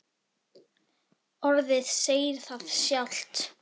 Orðið segir það sjálft.